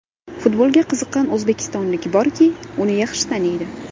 Futbolga qiziqqan o‘zbekistonlik borki, uni yaxshi taniydi.